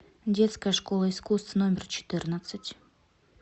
детская школа искусств номер четырнадцать